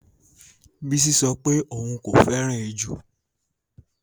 Bisi sọ pé òun kò fẹ́ràn ejò